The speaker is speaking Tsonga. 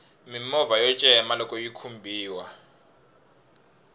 mimovha yo cema loxo yi khumbiwa